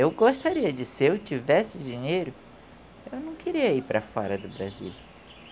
Eu gostaria de, se eu tivesse dinheiro, eu não queria ir para fora do Brasil.